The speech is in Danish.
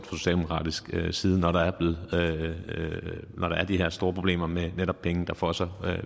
socialdemokratisk side når der er de her store problemer med netop penge der fosser